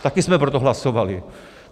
Taky jsme pro to hlasovali.